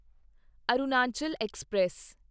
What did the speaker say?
Arunachal express